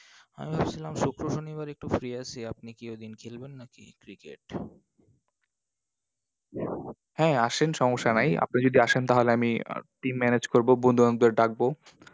আমি বলছিলাম শুক্র শনিবার একটু free আছি, আপনি কি ঐদিন খেলবেন নাকি cricket? হ্যাঁ আসেন, সমস্যা নাই। আপনি যদি আসেন তাহলে আমি team manage করবো, বন্ধুবান্ধবদের ডাকবো।